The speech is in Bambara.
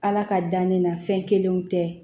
Ala ka dan ne na fɛn kelenw tɛ